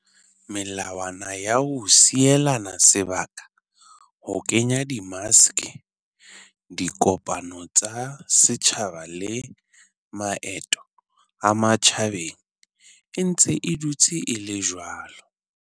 Melawana ya ho sielana sebaka, ho kenya di maske, dikopano tsa setjhaba le maeto a matjhabeng e ntse e dutse e le jwalo.